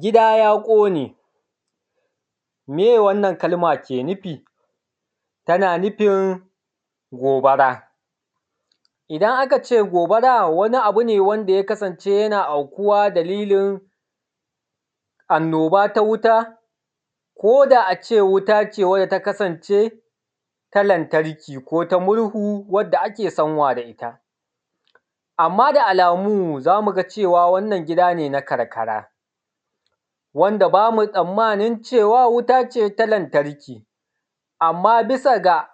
Gida ya ƙone. Meye wannan kalma ke nufi? Tana nufin gobara. Idan aka ce gobara wani abu ne wanda ya kasance yana aikuwa dalilin anoba ta wuta koda ace wutan wanda ta kasance ta lantarki ko ta murhu wadda ake sanwa da ita. Amma da alamu zamu ga cewa wannan gida ne na karkara, wanda bamu tsammanin cewa wuta ce ta lantarki, amma bisa ga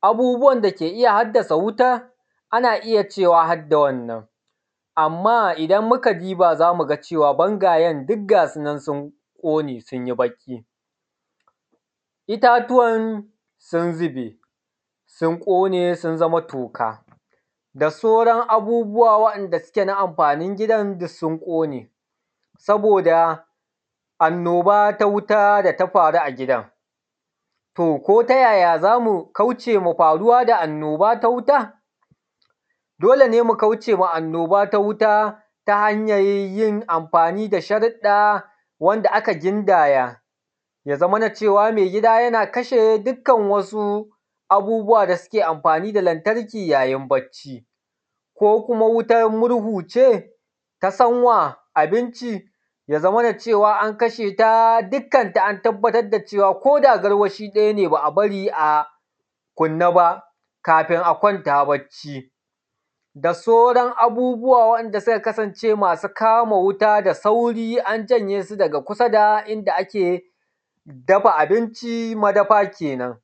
abubuwan da yake haddasa wuta, ana iya cewa harda wannan, amma idan muka diba zamu ga cewa ɓangayen duk gasu nan sun ƙone sun yi baƙi, itatuwan sun zube, sun ƙone sun zama toka da sauran abubuwa wanda suke na amfanin gidan duk sun ƙone, saboda annoba ta wuta data faru a gidan. To ko tayaya zamu ƙaucema faruwa da annoba ta wuta? Dole ne mu kaucema annoba ta wuta ta hanyar yin amfani da sharuda wanda aka gindaya, ya zamana cewa mai gida yana kashe dukkan wasu abubuwa da suke amfani da lantarki yayin barci, ko kuma wutan murhu ce ta sanwan abinci ya zaman cewa an kasheta dukkanta an tabbatar da cewa koda garwashi ɗaya ne ba’a bari a kuɓɓe ba kafin a kwanta barci, da sauran abubuwa wanda suka kasance masu kama wuta da sauri an janye su daga kusa da inda ake dafa abinci, madafa kenen.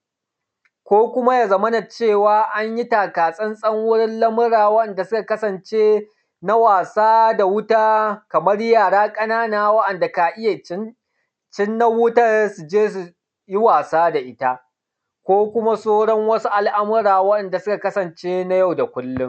Ko kuma ya zamana cewa anyi taka tsan-tsan wurin lamura wa’inda suka kasance, na wasa da wuta, kaman yara ƙanana wa’anda ka iya cinar wutar su je suyi wasa da ita, ko kuma sauran al’amura wa’inda suka kasance na yau da kullum.